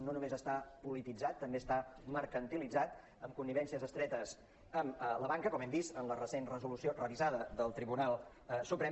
no només està polititzat també està mercantilitzat amb connivències estretes amb la banca com hem vist en la recent resolució revisada del tribunal suprem